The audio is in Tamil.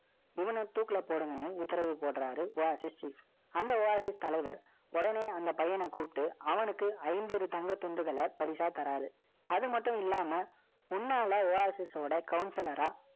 இவனை தூக்குல போடுங்கன்னு, உத்தரவு போடுறாரு Oasischief அந்த Oasis தலைவர், உடனே அந்த பையன கூப்பிட்டு, அவனுக்கு ஐம்பது தங்கத் துண்டுகளை பரிசா தர்றாரு. அது மட்டும் இல்லாம, முன்னால, Counsler ஆ,